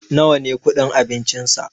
nawa ne kudin abincinsa?